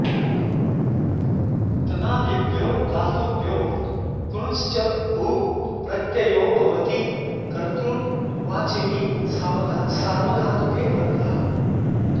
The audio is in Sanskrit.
तनादिभ्यो धातुभ्यो कृञश्च उः प्रत्ययो भवति कर्तृवाचिनि सार्वधातुके परतः